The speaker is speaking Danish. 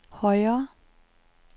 højre